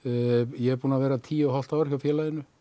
ég er búinn að vera tíu og hálft ár hjá félaginu